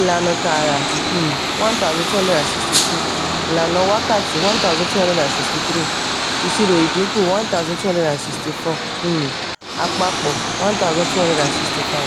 ìlànà tààrà: um 1262. ìlànà wákàtí: 1263. ìṣirò ìdínkù: 1264. um àpapọ̀: 1265.